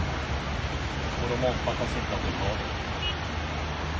Och de omfattas inte av blockaden.